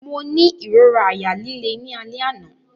Mo ni irora àyà lile ni alẹ ana.